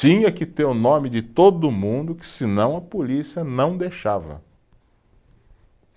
Tinha que ter o nome de todo mundo, que senão a polícia não deixava.